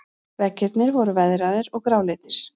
Veggirnir voru veðraðir og gráleitir.